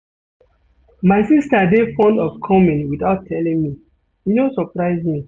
My sista dey fond of coming witout telling me, e no surprise me.